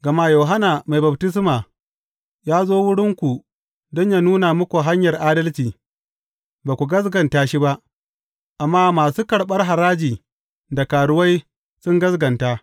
Gama Yohanna Mai Baftisma ya zo wurinku don yă nuna muku hanyar adalci, ba ku gaskata shi ba, amma masu karɓar haraji da karuwai sun gaskata.